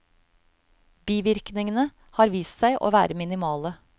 Bivirkningene har vist seg å være minimale.